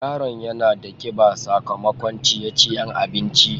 Yaron yana da kiba sakamakon ceye-ceyen abinci.